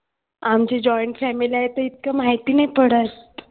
आमची joint family आहे तर इतकं माहिती नाही पडत.